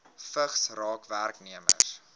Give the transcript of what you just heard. vigs raak werknemers